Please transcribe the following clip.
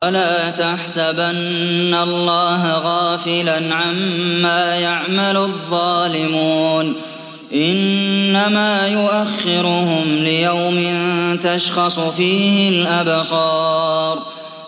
وَلَا تَحْسَبَنَّ اللَّهَ غَافِلًا عَمَّا يَعْمَلُ الظَّالِمُونَ ۚ إِنَّمَا يُؤَخِّرُهُمْ لِيَوْمٍ تَشْخَصُ فِيهِ الْأَبْصَارُ